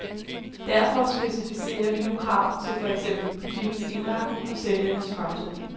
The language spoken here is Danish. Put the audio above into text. Derfor specificerer vi nu krav til for eksempel butikkens indretning og sælgernes fremtoning.